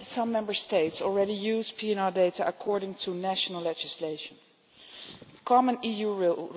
Some Member States already use PNR data according to national legislation. Common EU